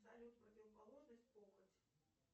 салют противоположность похоть